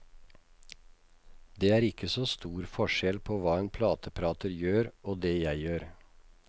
Det er ikke så stor forskjell på hva en plateprater gjør og det jeg gjør.